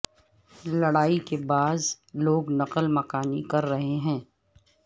لڑائی کے باعث لوگ نقل مکانی کر رہے ہیں